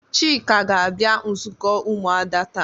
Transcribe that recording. Chika ga-abia nzuko umuada ta.